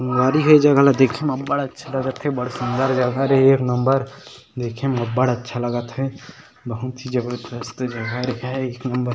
उमारी ह ए जगह ला देखथनअबढ़ अच्छा लागत हे बढ़ सुंदर जगह हरे एक नंबर देखे में अबढ़ अच्छा लगत हे बहुत ही जबरजस्त जगह हे एक नंबर --